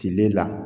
Cile la